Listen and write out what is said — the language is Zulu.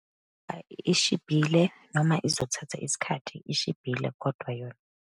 Ayi, ishibhile, noma izothatha isikhathi, ishibhile kodwa yona.